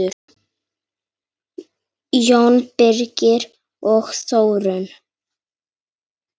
Jón Birgir og Þórunn.